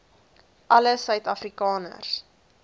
alle suid afrikaners